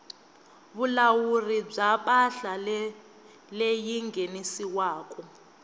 vulawuri bya mpahla leyi nghenisiwaku